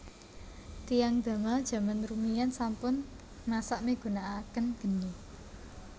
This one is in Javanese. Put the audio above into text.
Tiyang Damal jaman rumiyin sampun masak migunakaken geni